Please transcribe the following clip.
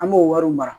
An b'o wariw mara